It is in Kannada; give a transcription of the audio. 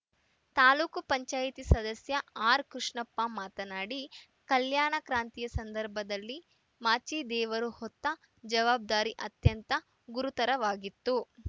ತಾಲೂಕು ಪಂಚಾಯಿತಿ ಸದಸ್ಯ ಆರ್‌ಕೃಷ್ಣಪ್ಪ ಮಾತನಾಡಿ ಕಲ್ಯಾಣ ಕ್ರಾಂತಿಯ ಸಂದರ್ಭದಲ್ಲಿ ಮಾಚಿದೇವರು ಹೊತ್ತ ಜವಾಬ್ದಾರಿ ಅತ್ಯಂತ ಗುರುತರವಾಗಿತ್ತು